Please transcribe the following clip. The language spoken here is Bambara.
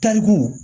Tariku